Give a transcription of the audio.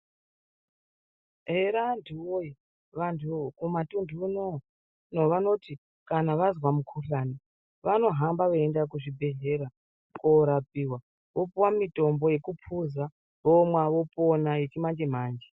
Ere anthu woye vanthu kumatunthu unono vanoti kana vazwa mukhuhlani vanohamba veiende kuzvibhedhlera koorapiwa vopuwa mitombo yekuphuza vomwa vopona yechimanje -manje.